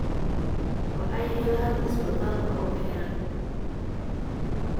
Waxay heleen isbitaalka oo xiran